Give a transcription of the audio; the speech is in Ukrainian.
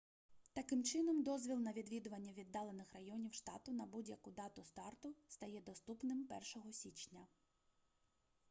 таким чином дозвіл на відвідування віддалених районів штату на будь-яку дату старту стає доступним 1 січня